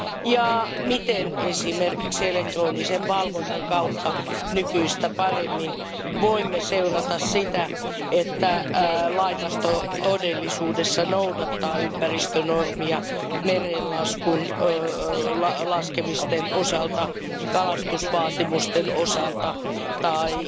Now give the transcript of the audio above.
Ja miten esimerkiksi elektronisen valvonnan kautta voimme nykyistä paremmin seurata sitä, että laivasto todellisuudessa noudattaa ympäristönormia mereen laskemisten osalta, kalastusvaatimusten osalta tai